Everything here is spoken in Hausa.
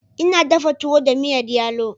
Ina dafa tuwo da miyar yalo.